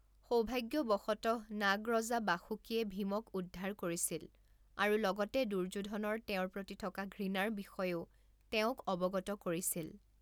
সৌভাগ্যৱশতঃ নাগ ৰজা বাসুকীয়ে ভীমক উদ্ধাৰ কৰিছিল আৰু লগতে দুৰ্যোধনৰ তেওঁৰ প্ৰতি থকা ঘৃণাৰ বিষয়েও তেওঁক অৱগত কৰিছিল।